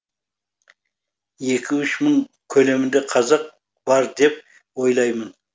екі үш мың көлемінде қазақ бар деп ойлаймын